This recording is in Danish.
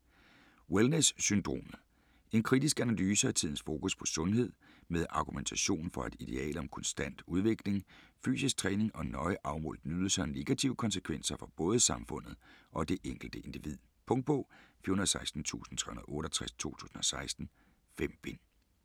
Wellness syndromet En kritisk analyse af tidens fokus på sundhed, med argumentation for at idealet om konstant personlig udvikling, fysisk træning og nøje afmålt nydelse har negative konsekvenser for både samfundet og det enkelte individ. Punktbog 416368 2016. 5 bind.